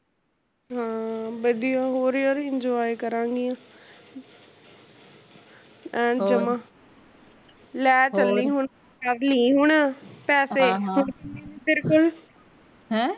ਹਾਂ ਵਧੀਆ ਹੋਰ ਯਰ enjoy ਕਰਾਗੀਆਂ ਐਨੂੰ ਜਮਾ, ਲੈ ਚਲੀ ਹੁਣ ਕਰਲੀ ਹੁਣ ਪੈਸੇ ਤੇਰੇ ਕੋਲ